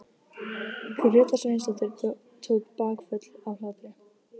Gréta Sveinsdóttir tók bakföll af hlátri.